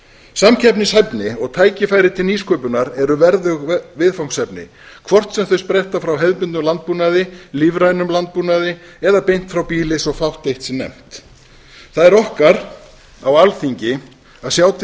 samkeppnishæfni og tækifæri til nýsköpunar eru verðug viðfangsefni hvort sem þau spretta frá hefðbundnum landbúnaði lífrænum landbúnaði eða beint frá býli svo fátt eitt sé nefnt það er okkar á alþingi að sjá til